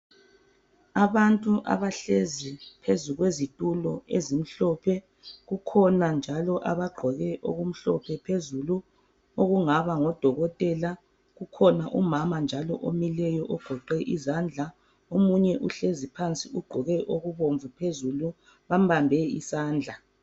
Abantu abahlezi phezu kwezitulo ezimhlophe, kukhona njalo abagqoke okumhlophe phezulu, okungaba ngodokotela. Kukhona umama njalo omileyo ogoqe izandla, omunye uhlezi phansi ugqoke okubomvu phezulu, bambambe isandla.